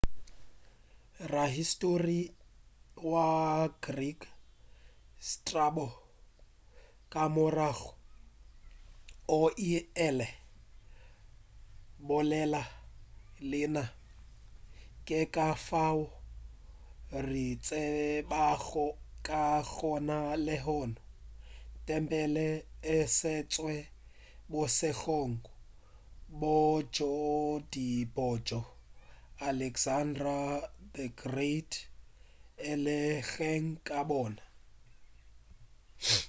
rahistori wa greek strabo ka morago o ile a bolela leina ke ka fao re tsebago ka gona lehono tempele e sentšwe bošegong bjo tee bjoo alexander the great a belegweng ka bona